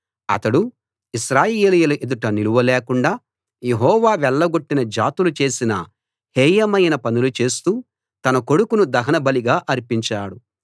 అతడు ఇశ్రాయేలీయుల ఎదుట నిలవలేకుండా యెహోవా వెళ్లగొట్టిన జాతులు చేసిన హేయమైన పనులు చేస్తూ తన కొడుకును దహన బలిగా అర్పించాడు